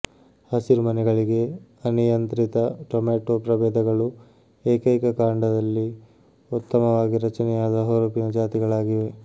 ಹಸಿರುಮನೆಗಳಿಗೆ ಅನಿಯಂತ್ರಿತ ಟೊಮೆಟೊ ಪ್ರಭೇದಗಳು ಏಕೈಕ ಕಾಂಡದಲ್ಲಿ ಉತ್ತಮವಾಗಿ ರಚನೆಯಾದ ಹುರುಪಿನ ಜಾತಿಗಳಾಗಿವೆ